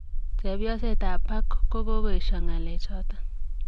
Chepyoset ab Park kogoesio ngalechoton.